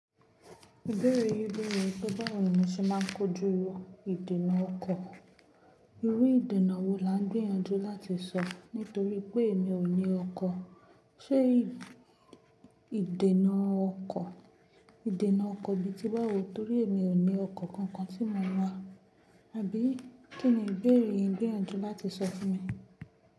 Ìbéèrè yìí beere wipe bá wo ní mo ṣe máa ń kojú ìdènà ọkọ̀. Irú ìdènà wo là ń gbìyànjú láti sọ nítorí pé èmi ò ní ọkọ̀? Ṣé ìdènà ọkọ̀, ìdènà ọkọ̀ bí i tí bá wù tó rí èmi ò ní ọkọ̀ kankan tí mo ń wa. Àbí kí ni ìbéèrè yín ń gbìyànjú láti sọ fún mi?